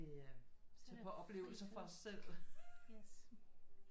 Øh tage på oplevelser for os selv